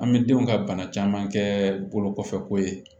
An bɛ denw ka bana caman kɛ bolo kɔfɛko ye